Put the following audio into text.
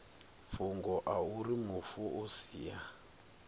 fhungo auri mufu o sia